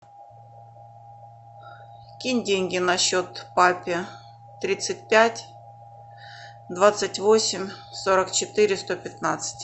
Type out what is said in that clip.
кинь деньги на счет папе тридцать пять двадцать восемь сорок четыре сто пятнадцать